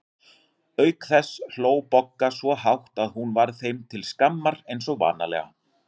Auk þess hló Bogga svo hátt að hún varð þeim til skammar eins og vanalega.